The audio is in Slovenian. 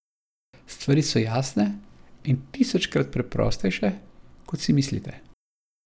Stvari so jasne in tisočkrat preprostejše, kot si mislite.